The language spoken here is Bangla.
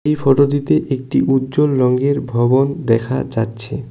এই ফটো -টিতে একটি উজ্জ্বল রঙ্গের ভবন দেখা যাচ্ছে।